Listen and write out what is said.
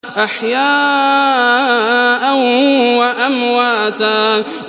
أَحْيَاءً وَأَمْوَاتًا